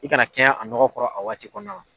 I kana kɛɲɛ a nɔgɔ kɔrɔ a waati kɔnɔ